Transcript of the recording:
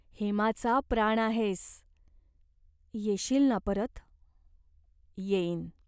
हेमाचा प्राण आहेस. येशील ना परत ?" "येईन.